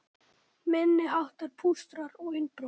Minniháttar pústrar og innbrot